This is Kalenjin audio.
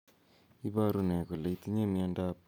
Ne ne ipu miondap ornithine transcarbamylase deficiency?